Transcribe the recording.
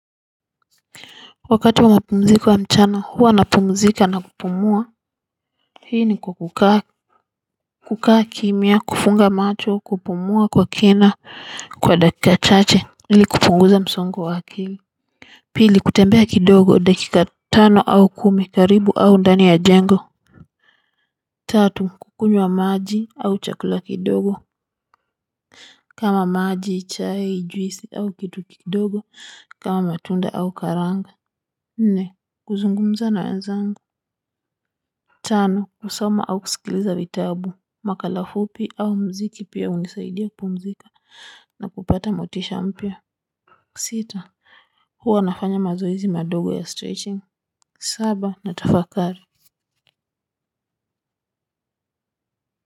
Wakati wa mapumziko ya mchana huwa napumzika na kupumua, hii ni kwa kukaa kukaa kimya, kufunga macho, kupumua kwa kina kwa dakika chache ili kupunguza msongo wa akili pili, kutembea kidogo dakika tano au kumi karibu au ndani ya jengo tatu, kukunywa maji au chakula kidogo kama maji, chai, juisi au kitu kidogo kama matunda au karanga nne, kuzungumza na wenzangu. Tano, kusoma au kusikiliza vitabu, makala fupi au mziki pia hunisaidia kupumzika na kupata motisha mpya. Sita, huwa nafanya mazoezi madogo ya stretching. Saba, natafakari.